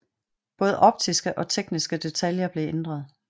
Både optiske og tekniske detaljer blev ændret